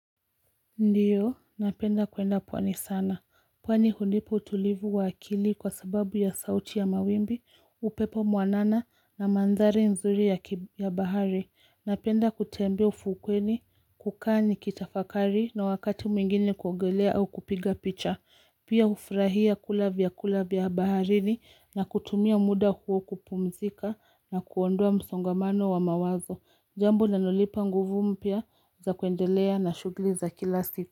Ndio, napenda kwenda pwani sana. Pwani hunipa utulivu wa akili kwa sababu ya sauti ya mawimbi, upepo mwanana na mandhari nzuri ya bahari. Napenda kutembea ufukweni, kukaa ni kitafakari na wakati mwingine kuogelea au kupiga picha. Pia hufrahia kula vyakula vya baharini na kutumia muda huo kupumzika na kuondoa msongamano wa mawazo. Jambu linalonipa nguvu mpya za kuendelea na shughuli za kila siku.